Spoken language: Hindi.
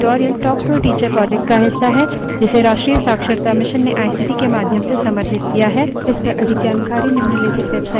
spoken tutorials talk to a teacher project का हिस्सा है जिसे राष्ट्रीय शिक्षा mission ने आईसीटी के माध्यम से समर्थित किया है